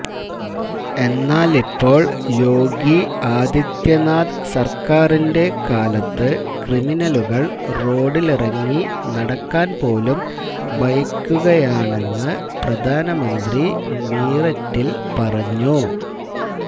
എന്നാലിപ്പോള് യോഗി ആദിത്യനാഥ് സര്ക്കാരിന്റെ കാലത്ത് ക്രിമിനലുകള് റോഡില് ഇറങ്ങി നടക്കാന് പോലും ഭയക്കുകയാണെന്ന് പ്രധാനമന്ത്രി മീററ്റില് പറഞ്ഞു